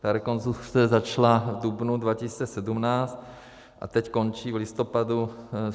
Ta rekonstrukce začala v dubnu 2017 a teď končí v listopadu.